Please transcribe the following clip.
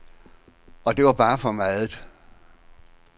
Og det var bare for meget.